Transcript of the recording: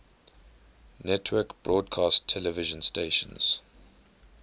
network broadcast television stations